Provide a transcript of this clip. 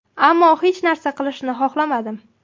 Ammo hech narsa qilishni xohlamadim.